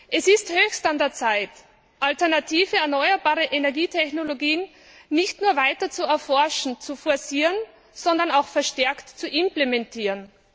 Es ist höchst an der Zeit, alternative erneuerbare Energietechnologien nicht nur weiter zu erforschen und zu forcieren, sondern auch verstärkt zu implementieren.